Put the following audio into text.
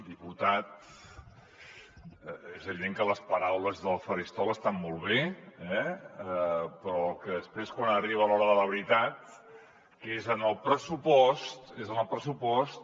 diputat és evident que les paraules del faristol estan molt bé eh però després quan arriba l’hora de la veritat que és en el pressupost